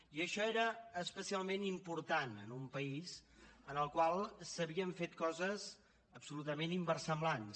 i això era especialment important en un país en el qual s’havien fet coses absolutament inversemblants